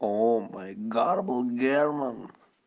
о май гадбл герман